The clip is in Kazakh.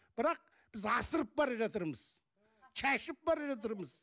бірақ біз асығып бара жатырмыз шашып бара жатырмыз